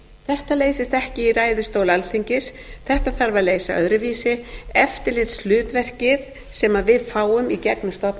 þetta leysist ekki í ræðustóli alþingis þetta þarf að leysa öðruvísi eftirlitshlutverkið sem við fáum í gegnum